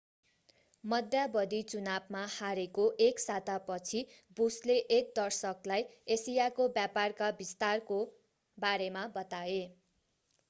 मध्यावधि चुनावमा हारेको एक सातापछि बुसले एक दर्शकलाई एसियाको व्यापारका विस्तारको बारेमा बताए